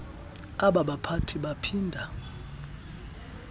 aba baphathi baphinda